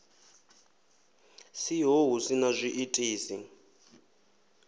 siho hu si na zwiitisi